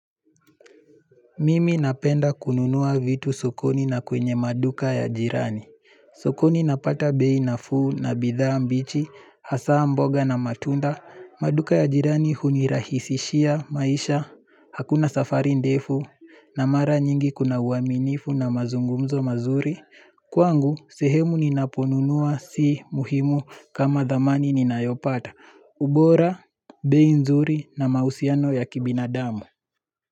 Mimi napenda kununua vitu sokoni, na kwenye maduka ya jirani. Sokoni napata bei nafuu na bidhaa mbichi, hasa mboga na matunda. Maduka ya jirani hunirahisishia maisha, hakuna safari ndefu, na mara nyingi kuna uaminifu na mazungumzo mazuri. Kwangu, sehemu ninaponunua si muhimu kama dhamani ninayopata. Ubora, bei nzuri na mahusiano ya kibinadamu.